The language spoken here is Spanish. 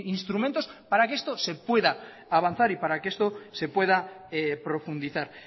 instrumentos para que esto se pueda avanzar y para que esto se pueda profundizar